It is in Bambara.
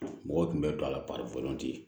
Mɔgɔw tun bɛ don a la